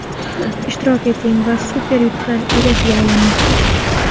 Ishtirok eting va super yutuqlar egasiga aylaning!